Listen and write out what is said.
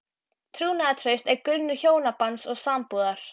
Trúnaðartraust er grunnur hjónabands og sambúðar.